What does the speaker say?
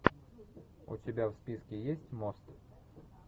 у тебя в списке есть мост